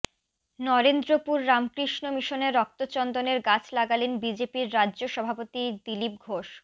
নরেন্দ্রপুর রামকৃষ্ণ মিশনে রক্তচন্দনের গাছ লাগালেন বিজেপির রাজ্য সভাপতি দিলীপ ঘোষ